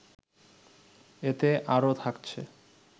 এতে আরও থাকছে